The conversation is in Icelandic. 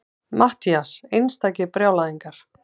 MATTHÍAS: Einstakir brjálæðingar!